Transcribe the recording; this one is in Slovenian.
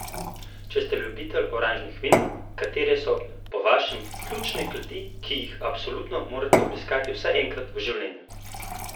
Če ste ljubitelj oranžnih vin, katere so po vašem ključne kleti, ki jih absolutno morate obiskati vsaj enkrat v življenju?